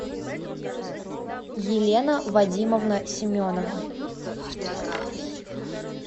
елена вадимовна семенова